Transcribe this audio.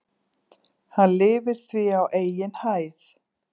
Hann lifir því á eigin hæð.